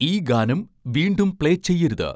ഈ ഗാനം വീണ്ടും പ്ലേ ചെയ്യരുത്